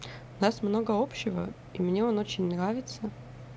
нас много общего и мне он очень нравится